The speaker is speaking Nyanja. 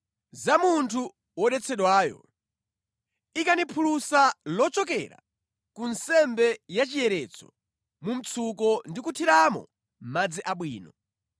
“Za munthu wodetsedwayo: ikani phulusa lochokera ku nsembe ya chiyeretso mu mtsuko ndi kuthiramo madzi abwino.